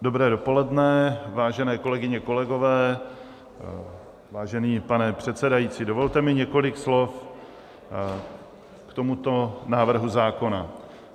Dobré dopoledne, vážené kolegyně, kolegové, vážený pane předsedající, dovolte mi několik slov k tomuto návrhu zákona.